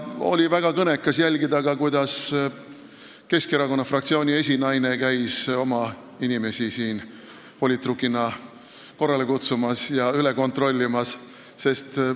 Oli ka väga kõnekas jälgida, kuidas Keskerakonna fraktsiooni esinaine käis siin oma inimesi politrukina korrale kutsumas ja üle kontrollimas.